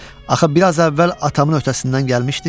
Axı biraz əvvəl atamın öhtəsindən gəlmişdi?